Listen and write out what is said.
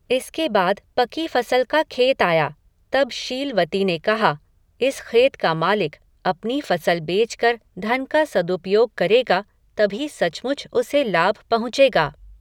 इसके बाद पकी फ़सल का खेत आया, तब शील वती ने कहा, इस ख़ेत का मालिक, अपनी फ़सल बेचकर धन का सदुपयोग करेगा, तभी सचमुच उसे लाभ पहुँचेगा